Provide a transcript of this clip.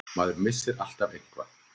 Maður missir alltaf eitthvað.